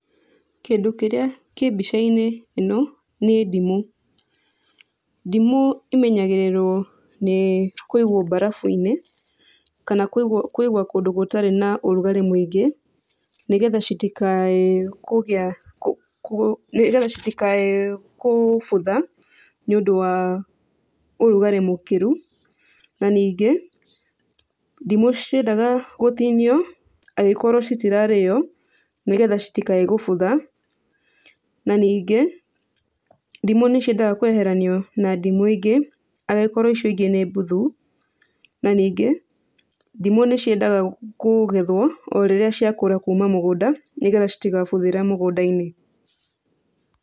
Kĩndũ kĩrĩa kĩ mbica-inĩ ĩno nĩ ndimũ. Ndimũ ĩmenyagĩrĩrwo nĩ kũigwo mbarabu-inĩ kana kũigwo kũndũ gũtarĩ na ũrugarĩ mũingĩ nĩgetha citikae kũgĩa, nĩgetha citikae kũbutha nĩũndũ wa ũrugarĩ mũkĩru. Na ningĩ, ndimũ citiendaga gũtinio angĩkorwo citirarĩo, nĩgetha citikae gũbutha. Na ningĩ, ndimũ nĩciendaga kweheranio na ndimũ ingĩ angĩkorwo icio ingĩ nĩ mbuthu. Na ningĩ, ndimũ nĩciendaga kũgethwo o rĩrĩa ciakũra kuma mũgũnda, nĩgetha citigabuthĩre mũgũnda-inĩ.